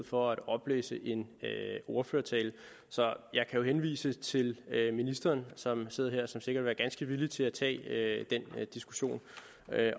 for at oplæse en ordførertale så jeg kan jo henvise til ministeren som sidder her og som sikkert vil være ganske villig til at tage den diskussion